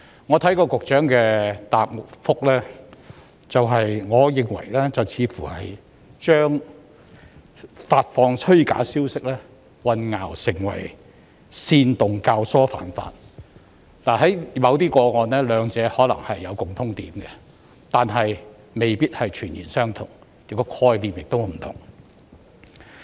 我聽到局長的主體答覆後，我認為他似乎把發放虛假消息混淆成為煽動教唆犯法，在某些個案中，兩者可能有共通點，但未必全然相同，當中的概念也是不同的。